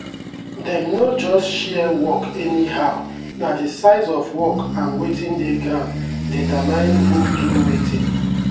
dem no just share work anyhow na the size of work and wetin dey ground determine who do wetin.